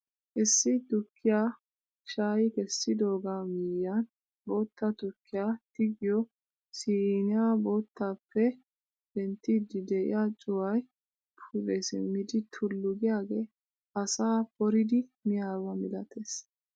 Issi tukkiyaa shayi kessidoogaa miyiyaan bootta tukkiyaa tigiyoo siniyaa boottaappe penttiidi de'iyaa cuwayi pude simmidi tullu giyaage asaa poridi miyaaba milatees!